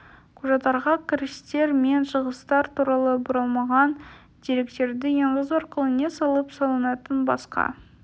кұжаттарға кірістер мен шығыстар туралы бұрмаланған деректерді енгізу аркылы не салық салынатын басқа